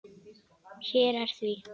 Hér er því.